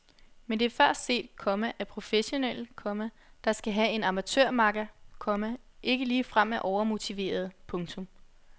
Men det er før set, komma at professionelle, komma der skal have en amatørmakker, komma ikke ligefrem er overmotiverede. punktum